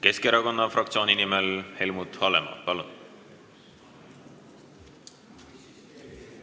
Keskerakonna fraktsiooni nimel Helmut Hallemaa, palun!